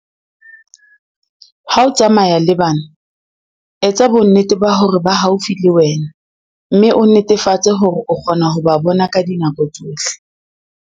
Ha o tsamaya le bana, etsa bonnete ba hore ba haufi le wena mme o netefatse hore o kgona ho ba bona ka dinako tsohle.